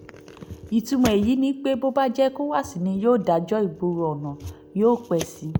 ìtumọ̀ èyí ni pé bó bá jẹ́ ecowás ni yóò dájọ́ ìgboro ọ̀nà yóò pẹ́ sí i